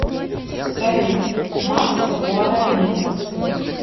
салют масса гуаранин